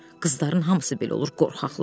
Qızların hamısı belə olur qorxaqlar.